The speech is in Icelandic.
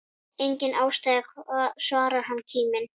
Enga ástæðu svarar hann kíminn.